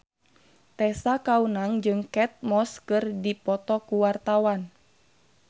Tessa Kaunang jeung Kate Moss keur dipoto ku wartawan